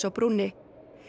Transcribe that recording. á brúnni